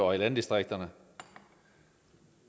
og i landdistrikterne